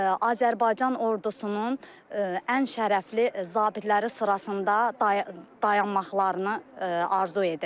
Azərbaycan ordusunun ən şərəfli zabitləri sırasında dayanmaqlarını arzu edirik.